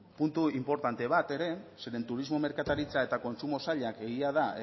puntu inportante bat ere zeren turismo merkataritza eta kontsumo sailak egia da